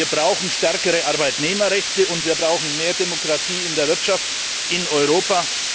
Wir brauchen stärkere Arbeitnehmerrechte, und wir brauchen mehr Demokratie in der Wirtschaft in Europa.